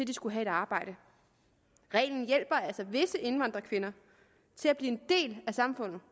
de skulle have et arbejde reglen hjælper altså visse indvandrerkvinder til at blive en del af samfundet